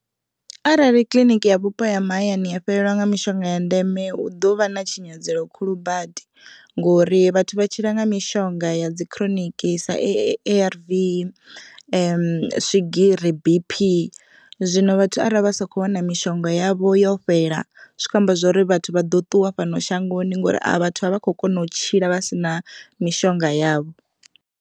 Arali kiḽiniki ya vhupo ha mahayani ya fhelelwa nga mishonga ya ndeme hu ḓovha na tshinyalelo khulu badi, ngori vhathu vha tshila nga mishonga ya dzi chronic sa A_R_V, swigiri, B_P. Zwino vhathu arali vha sa kho wana mishonga yavho yo fhela zwi kho amba zwori vhathu vha ḓo ṱuwa fhano shangoni ngori vhathu a vha kho kona u tshila vha sina mishonga yavho.